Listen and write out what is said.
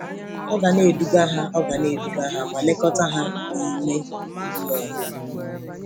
Ọ ga-eduga ha Ọ ga-eduga ha ma lekọta ha n’ime mmụọ.